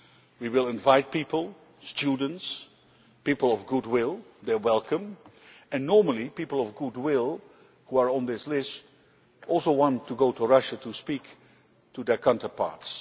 We will invite people, students, people of goodwill they are welcome and normally people of goodwill who are on this list also want to go to Russia to speak to their counterparts.